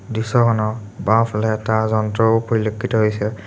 দৃশ্যখনৰ বাওঁফালে এটা যন্ত্ৰও পৰিলক্ষিত হৈছে।